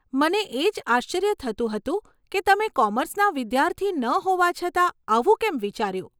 મને એજ આશ્ચર્ય થતું હતું કે તમે કોમર્સના વિદ્યાર્થી ન હોવા છતાં આવું કેમ વિચાર્યું?